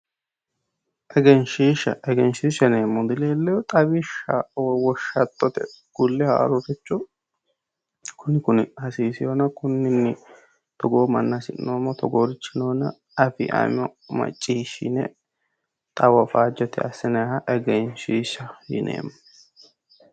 Egenshishsha, egenshishsha yineemmohu dileelinohe xawishshaho ,woshshattote ku'le haaroricho kuni kuni hasiisewonna togoo manna hasi'noommo, togoorichi noonna maccishshine xawoho faajete assinanniha egenshishsha yineemmo